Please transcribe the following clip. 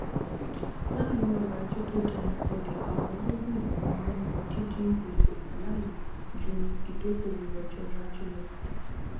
láàrin ọrọajé tó dẹnu kọlẹ àwọn ọlọgbọn ènìyàn máa n yan díndín gbèsè kù láàyò ju ìdókòwò ọjọiwájú lọ